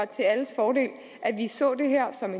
til alles fordel at vi ser det her som